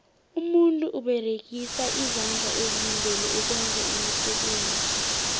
umuntu uberegisa izandla ezimbili ukwenza iimisebenzi